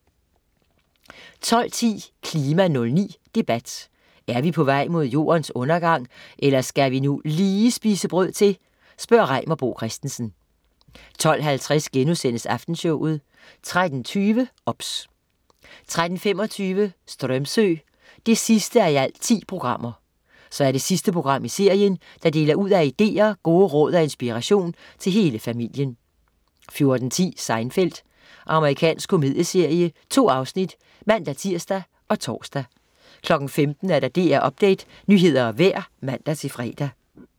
12.10 KLIMA 09: Debat. Er vi på vej mod Jordens undergang eller skal vi nu lige spise brød til? Reimer Bo Christensen 12.50 Aftenshowet* 13.20 OBS 13.25 Strömsö 10:10. Så er det sidste program i serien, der deler ud af ideer, gode råd og inspiration til hele familien 14.10 Seinfeld. Amerikansk komedieserie 2 afsnit (man-tirs og tors) 15.00 DR Update, nyheder og vejr (man-fre)